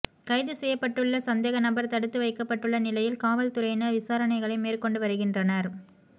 கைது செய்யப்பட்டுள்ள சந்தேக நபர் தடுத்து வைக்கப்பட்டுள்ள நிலையில் காவல் துறையினர் விசாரணைகளை மேற்கொண்டு வருகின்றனர்